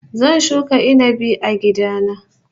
Zan shuka inabi a gida na